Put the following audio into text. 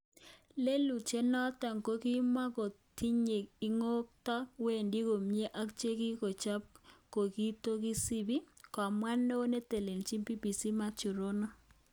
Lelutyet noton kokimotokiyoe ikotko wendi komie ak chekikichop kokitokisibi, kamwa neo netelelchin TBC Mathew Rono